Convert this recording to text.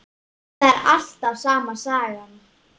Það er alltaf sama sagan.